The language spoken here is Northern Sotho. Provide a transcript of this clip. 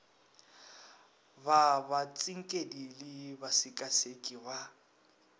ba batsinkedi le basekaseki ba